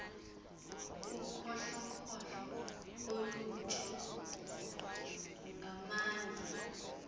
ukhohlokhohlo olutsho ngamandla